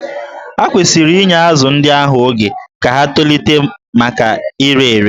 Ha kwesịrị inye azụ̀ ndị ahụ oge ka ha tolite maka ire ere